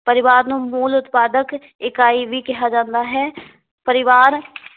ਪਰਿਵਾਰ ਨੂੰ ਮੂਲ ਉਤਪਾਦਕ ਇਕਾਈ ਵੀ ਕਿਹਾ ਜਾਂਦਾ ਹੈ ਪਰਿਵਾਰ